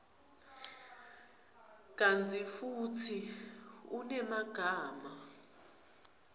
kantsi futsi unemagama